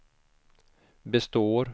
består